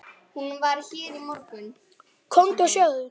Komdu og sjáðu!